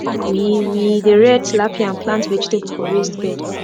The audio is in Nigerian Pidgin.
we we dey rear tilapia and plant vegetable for raised bed